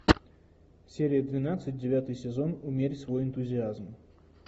серия двенадцать девятый сезон умерь свой энтузиазм